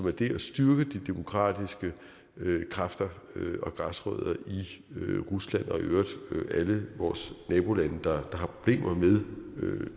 at det at styrke de demokratiske kræfter og græsrødder i rusland og i øvrigt alle vores nabolande der har problemer med